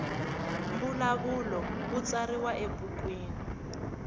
mbulavulo wu tsariwa ebukwini